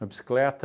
Na bicicleta...